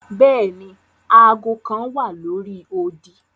Bẹẹni, aago kan wa lori odi.